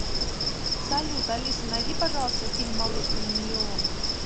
салют алиса найди пожалуйста фильм малышка на миллион